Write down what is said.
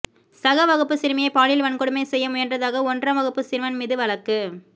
சக வகுப்பு சிறுமியை பாலியல் வன்கொடுமை செய்ய முயன்றதாக ஒன்றாம் வகுப்பு சிறுவன் மீது வழக்கு